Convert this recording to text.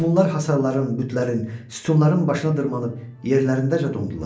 Meymunlar hasarların, bütlərin, sütunların başına dırmaşıb yerlərindəcə dondular.